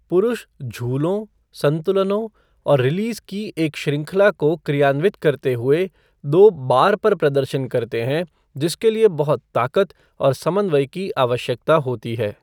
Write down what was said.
पुरुष झूलों, संतुलनों और रिलीज की एक श्रृंखला को क्रियान्वित करते हुए दो बार पर प्रदर्शन करते हैं जिसके लिए बहुत ताकत और समन्वय की आवश्यकता होती है।